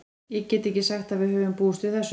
Ég get ekki sagt að við höfum búist við þessu.